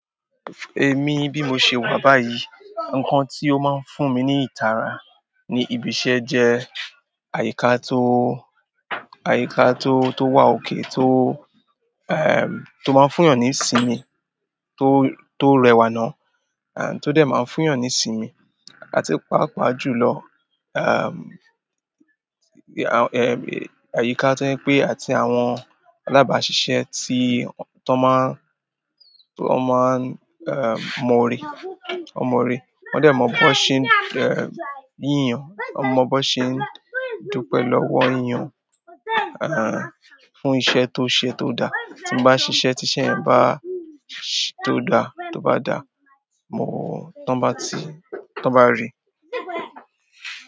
Èmi bí mo ṣe wà báyìí, ǹkan tí ó máa ń fún mi ní ìtara ní ibi iṣẹ́ jẹ́ àyíká tó, àyíká tó, tó wà okay tó, ẹm, tó máa ń fún yan ní ìsinmi tó, tó rẹwà ná, à tí ó dẹ̀ máa ń fún yan ní ìsinmi láti pàápàá jùlọ. Ehm, àyíká tó jẹ pè àti àwọn alábàáṣiṣẹ́ tí, tó máa ń, tó máa ń, ẹm, mọ̀ ọ̀rẹ́, ọn mọ̀ ọ̀rẹ́. Wọ́n dẹ̀ mọ ọ́ bó ṣe ń, ẹm, yínyan, wọ́n mọ ọ́ bó ṣe ń dúpẹ́ lọ́wọ́ èèyàn, àń, fún iṣẹ́ tó ṣe tó dà. Tin ba ṣiṣẹ ti iṣẹ́ yen baa, to da to ba da, mo, tọn ba ti, tọn ba ri.